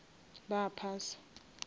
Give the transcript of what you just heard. ba phasa